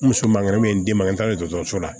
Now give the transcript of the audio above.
N muso mankan me ye n d'i ma n taara dɔgɔtɔrɔso la